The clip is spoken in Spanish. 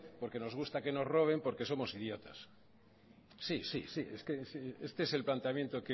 porque nos gusta que nos roben porque somos idiotas sí sí es que este es el planteamiento